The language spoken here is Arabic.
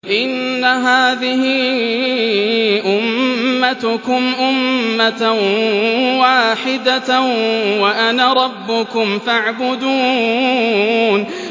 إِنَّ هَٰذِهِ أُمَّتُكُمْ أُمَّةً وَاحِدَةً وَأَنَا رَبُّكُمْ فَاعْبُدُونِ